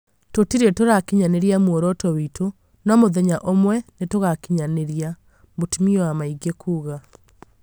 tũtire tũrakinyanĩria mũoroto witũ, no mũthenya ũmwe nĩtugakinyanĩria," mũtumia wa maingi kũga